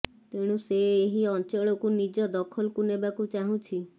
ତେଣୁ ସେ ଏହି ଅଞ୍ଚଳକୁ ନିଜ ଦଖଲକୁ ନେବାକୁ ଚାହୁଁଛି